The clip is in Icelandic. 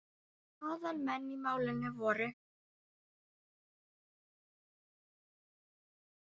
Aðal menn í málinu voru